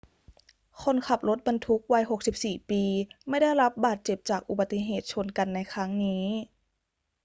คนขับรถบรรทุกวัย 64 ปีไม่ได้รับบาดเจ็บจากอุบัติเหตุชนกันในครั้งนี้